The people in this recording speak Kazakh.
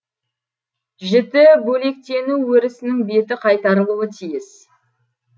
жіті бөлектену өрісінің беті қайтарылуы тиіс